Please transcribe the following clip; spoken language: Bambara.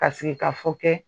Ka sigikafɔ kɛ